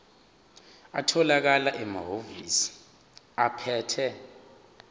atholakala emahhovisi abaphethe